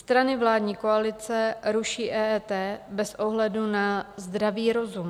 Strany vládní koalice ruší EET bez ohledu na zdravý rozum.